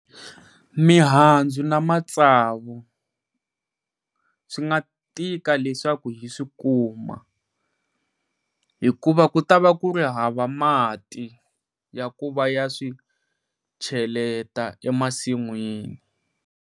Mihandzu na matsavu swi nga tika leswaku hi swikuma hikuva ku ta va ku ri hava mati ya ku va ya swi cheleta emasinwini.